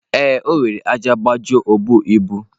Ee, o were ájá gbajuo obu ibu.